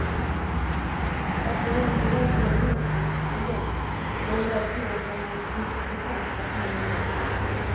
Att någon kan vara så egoistisk och lömsk går inte att tro förrän man stiftat bekantskap med honom.